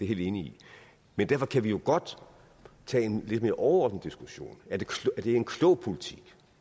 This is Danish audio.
helt enig i men derfor kan vi jo godt tage en lidt mere overordnet diskussion er det en klog politik